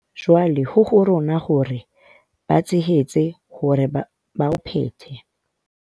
Jwale ho ho rona hore re ba tshehetse hore ba o phethe.